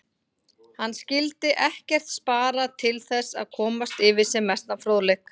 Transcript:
Hann skyldi ekkert spara til þess að komast yfir sem mestan fróðleik.